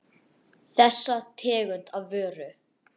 Þessa tegund af vöru.